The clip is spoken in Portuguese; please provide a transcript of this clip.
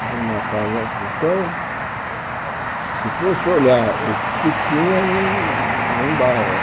Era uma casa... Então, se fosse olhar o que tinha, não não dava.